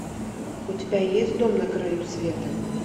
у тебя есть дом на краю света